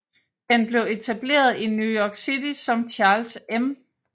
Den blev etableret i New York City som Charles M